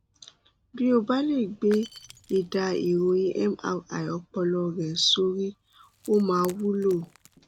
bí o bá lè gbé ẹdà ìròyìn mri ọpọlọ rẹ sórí ó máa wúlò